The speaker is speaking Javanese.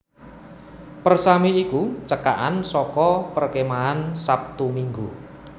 Persami ya iku cekakan saka Perkemahan Sabtu Minggu